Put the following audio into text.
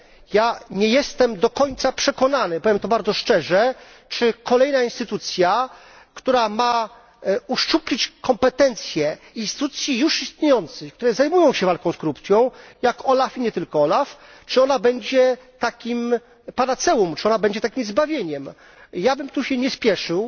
Ja nie jestem do końca przekonany, powiem to bardzo szczerze, czy kolejna instytucja, która ma uszczuplić kompetencje instytucji już istniejących, które zajmują się walką z korupcją, jak OLAF i nie tylko, czy ona będzie takim panaceum, czy ona będzie takim zbawieniem? Ja bym się tutaj nie spieszył